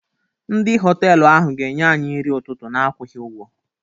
Ndị họtelu ahụ ga-enye anyị nri ụtụtụ n'akwughị ụgwọ.